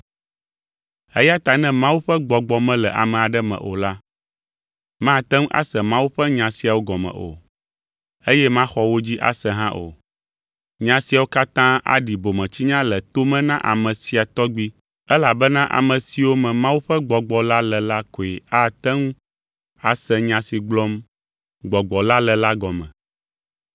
Eya ta ne Mawu ƒe Gbɔgbɔ mele ame aɖe me o la, mate ŋu ase Mawu ƒe nya siawo gɔme o, eye maxɔ wo dzi ase hã o. Nya siawo katã aɖi bometsinya le to me na ame sia tɔgbi elabena ame siwo me Mawu ƒe Gbɔgbɔ la le la koe ate ŋu ase nya si gblɔm Gbɔgbɔ la le la gɔme.